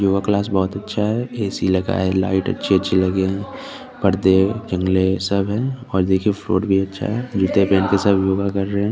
Yoga class बहुत अच्छा है ए_सी लगा है लाइट अच्छी अच्छी लगा है पर्दे गमले सब है और देखिये फ्लोर भी अच्छा है जूते पहन के सब लोग योगा कर रह है।